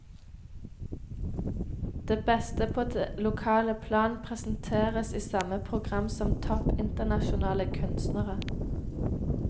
Det beste på det lokale plan presenteres i samme program som topp internasjonale kunstnere.